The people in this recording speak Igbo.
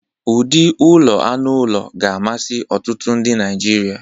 ụdị ụlọ anụ ụlọ ga-amasị ọtụtụ ndị Naijiria.